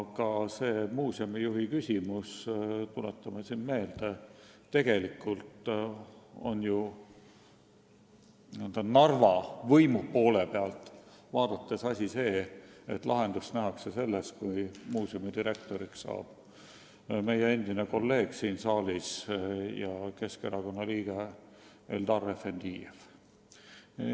Ka see muuseumi juhi küsimus – tuletame meelde, Narva võimude poole pealt vaadates nähakse lahendust selles, et muuseumi direktoriks saab meie endine kolleeg, Keskerakonna liige Eldar Efendijev.